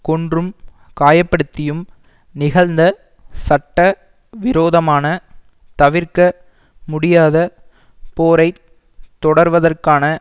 கொன்றும் காயப்படுத்தியும் நிகழ்ந்த சட்ட விரோதமான தவிர்க்க முடியாத போரை தொடர்வதற்கான